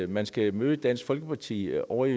man skal møde dansk folkeparti ovre i